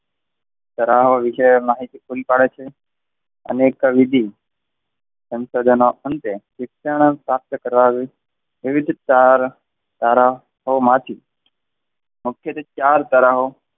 તારાહો વિશે માહિતી પૂરી પાડે છે. અનેક બીજી શિક્ષણ પ્રાપ્ત કરવા વિવિધ તરાહો માંથી મુખ્યત્વે ચાર તરાહો,